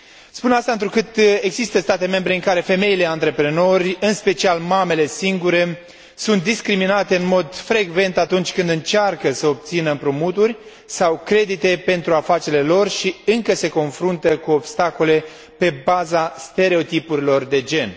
Spun aceasta întrucât există state membre în care femeile antreprenor, în special mamele singure, sunt discriminate în mod frecvent atunci când încearcă să obțină împrumuturi sau credite pentru afacerile lor și încă se confruntă cu obstacole pe baza stereotipurilor de gen.